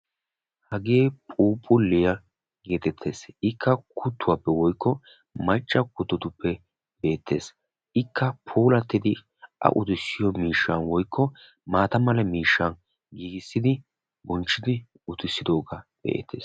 Hagee phuuphulliya geetettes. Ikka kuttuwaappe woykko macca kuttotuppe beettes. Ikka puulattidi a utissiyo miishshan woyikko maata mala miishshaa giigissidi bonchchidi utissidoogaa be'eettes.